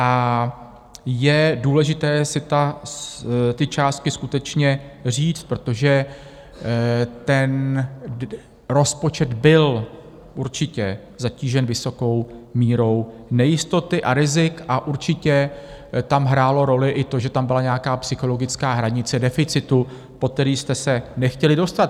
A je důležité si ty částky skutečně říct, protože ten rozpočet byl určitě zatížen vysokou mírou nejistoty a rizik a určitě tam hrálo roli i to, že tam byla nějaká psychologická hranice deficitu, pod který jste se nechtěli dostat.